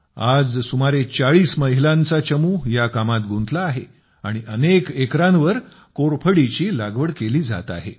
आज सुमारे चाळीस महिलांचा चमू या कामात गुंतला आहे आणि अनेक एकरांवर कोरफडीची लागवड केली जात आहे